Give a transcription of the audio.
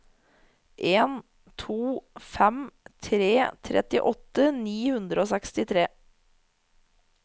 en to fem tre trettiåtte ni hundre og sekstitre